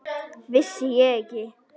Vissi ég ekki!